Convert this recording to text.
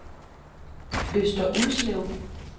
Øster Ulslev